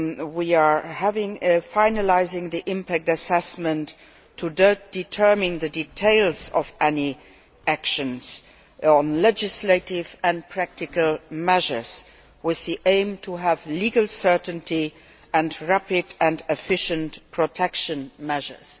We are finalising the impact assessment in order to determine the details of any actions on legislative and practical measures, with the aim of legal certainty and rapid and efficient protection measures.